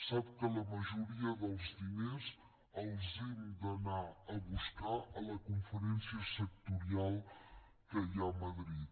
sap que la majoria dels diners els hem d’anar a buscar a la conferència sectorial que hi ha a madrid